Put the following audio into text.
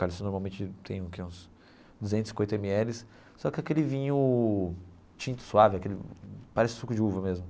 Cara, isso normalmente tem o que uns duzentos e cinquenta eme eles, só que aquele vinho tinto, suave, aquele parece suco de uva mesmo.